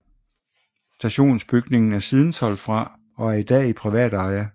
Stationsbygningen er siden solgt fra og er i dag i privat eje